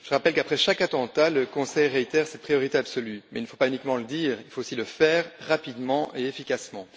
Je rappelle qu'après chaque attentat, le Conseil réitère cette priorité absolue, mais il ne faut pas uniquement le dire, il faut aussi le faire rapidement et efficacement.